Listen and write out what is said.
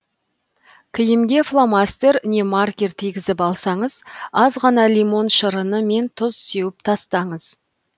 киімге фломастер не маркер тигізіп алсаңыз аз ғана лимон шырыны мен тұз сеуіп тастаңыз